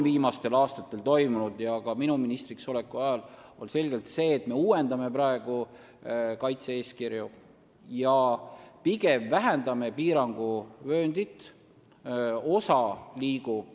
Viimastel aastatel – ka minu ministriks oleku ajal – on selgelt võetud suund sellele, et me uuendame kaitse-eeskirju ja pigem vähendame piiranguvööndit.